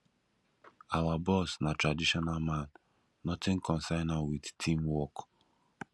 our boss na traditional man nothing concern am wit team work